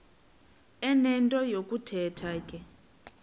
enento yokuthetha ke